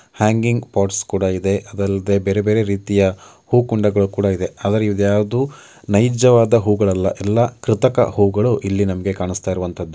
Hanging pots ಕೂಡ ಇದೆ ಅದಲ್ಲದೆ ಬೇರೆ ಬೇರೆ ರೀತಿಯ ಹೂಕುಂಡಗಳು ಕೂಡ ಇದೆ ಆದರೆ ಇದು ಯಾವುದು ನೈಜವಾದ ಹೂವುಗಳಲ್ಲ ಎಲ್ಲಾ ಕೃತಕ ಹೂವುಗಳು ಇಲ್ಲಿ ನಮಗೆ ಕಾಣಸ್ತಾ ಇರುವಂತದ್ದು.